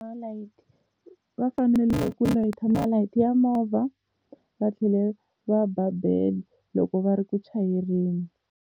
Malayiti, va fanele ku layita malayiti ya movha va tlhela va ba bele loko va ri ku chayeleni.